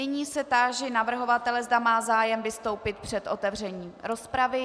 Nyní se táži navrhovatele, zda má zájem vystoupit před otevřením rozpravy.